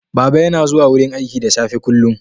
Baba yana zuwa wurin aiki da safe kullum.